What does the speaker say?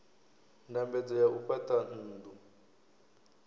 ndambedzo ya u fhaṱa nnḓu